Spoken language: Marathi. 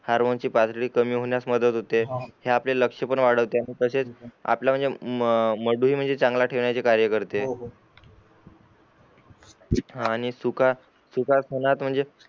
हार्मोनची पातळी कमी होण्यास मदत होते हे आपला लक्ष पण वाढवते आणि तसेच आपला म्हणजे मडू हे चांगला ठेवण्याचे कार्य करते हान आणि चुकआ चुका कोनात म्हणजे